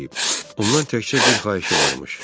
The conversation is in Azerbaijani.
Ondan təkcə bir xahişi varmış.